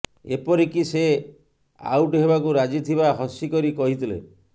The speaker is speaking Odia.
ଏପରିକି ସେ ଆଉଟ ହେବାକୁ ରାଜି ଥିବା ହସିକରି କହିଥିଲେ